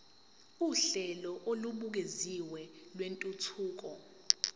uhlelo olubukeziwe lwentuthuko